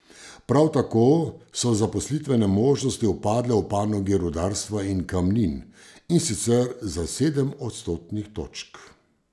Prav tako so zaposlitvene možnosti upadle v panogi rudarstva in kamnin, in sicer za sedem odstotnih točk.